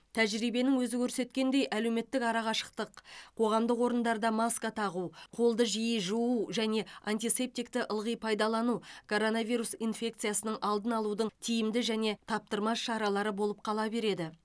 тәжірибенің өзі көрсеткендей әлеуметтік арақашықтық қоғамдық орындарда маска тағу қолды жиі жуу және антисептикті ылғи пайдалану коронавирус инфекциясының алдын алудың тиімді және таптырмас шаралары болып қала береді